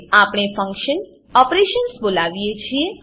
આપણે function operations function operations બોલાવીએ છીએ